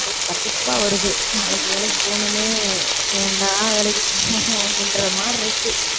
கடுப்பா வருது நாளைக்கு வேலைக்கு போகணுமே ஏன்டா வேலைக்குப் போகணும் அப்படின்ற மாதிரி இருக்கு